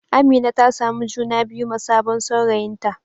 Amina ta samu juna biyu ma sabon saurayinta.